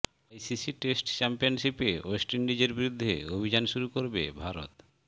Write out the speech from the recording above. ICC test চ্যাম্পিয়নশিপে west ইন্ডিজের বিরুদ্ধে অভিযান শুরু করবে ভারত